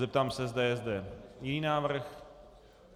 Zeptám se, zda je zde jiný návrh.